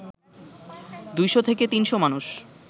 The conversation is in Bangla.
২০০-৩০০ মানুষ